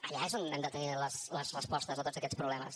allà és on hem de tenir les respostes a tots aquests problemes